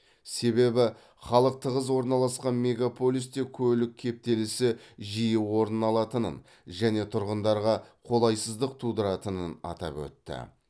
себебі халқы тығыз орналасқан мегаполисте көлік кептелісі жиі орын алатынын және тұрғындарға қолайсыздық тудыратынын атап өтті